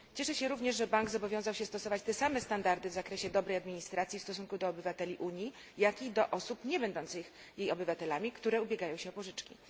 Cieszę się również, że bank zobowiązał się stosować te same standardy w zakresie dobrej administracji w stosunku do obywateli Unii, jak i do osób nie będących jej obywatelami, które ubiegają się o pożyczki.